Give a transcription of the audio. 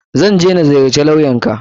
Zan je na ziyarci lawyan ka.